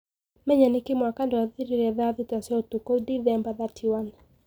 Menya niki mwaka dwathirire thaa thita cia ũtukũ wa Dithemba 31?